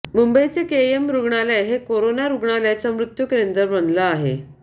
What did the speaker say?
मुंबईचं केईएम रुग्णालय हे कोरोना रुग्णांच्या मृत्यू केंद्र बनलं आहे